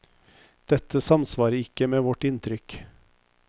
Dette samsvarer ikke med vårt inntrykk.